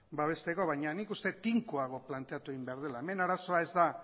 babesteko baina nik uste tinkoago planteatu egin behar dela hemen arazoa ez da